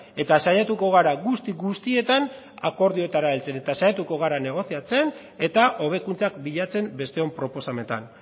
eta saiatuko gara guzti guztietan akordioetara heltzen eta saiatuko gara negoziatzen eta hobekuntzak bilatzen besteon proposamenetan